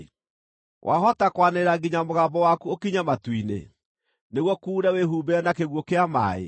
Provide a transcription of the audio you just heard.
“Wahota kwanĩrĩra nginya mũgambo waku ũkinye matu-inĩ nĩguo kuure wĩhumbĩre na kĩguũ kĩa maaĩ?